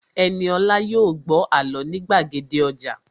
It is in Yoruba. Ẹniolá yóò gbọ́ àlọ́ ní gbàgede ọjà